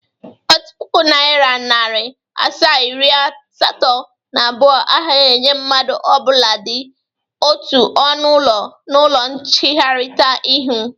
Otu pụkụ Naira, narị asaa, iri asatọ na abụọ agahi enye mmadụ ọbụladị otu ọnụ ụlọ na ụlọ ncherita ihu